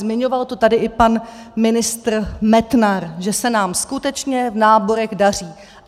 Zmiňoval to tady i pan ministr Metnar, že se nám skutečně v náborech daří.